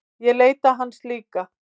Ég leita hans líka.